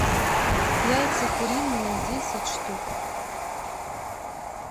яйца куриные десять штук